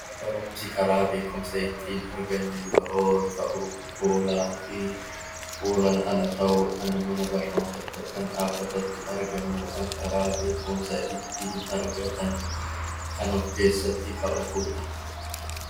Barumsi karaa ttiin beekumsa argannu yeroo ta'u fuulaa fi fuulaan ala ta'uu dhaan mana barnootaatti yookiin dhaabbatatti argamuu dhaan karaa beekumsa ittiin argatan kan of keessatti qabatu dha.